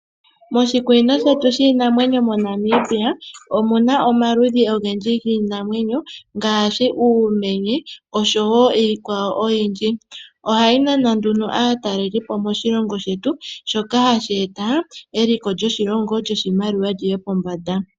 Moshikunino shetu shiinamwenyo moNamibia. Omuna omaludhi ogendji giinamwenyo. Ngaashi uumenye osho woo iikwawo oyindji. Ohayi nana nduno aatalelipo yeye moshilongo shetu. Shoka hashi eta eliko lyoshimaliwa lyiye pombanda.